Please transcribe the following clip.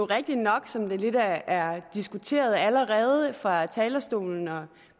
rigtigt nok som det lidt er diskuteret allerede fra talerstolen og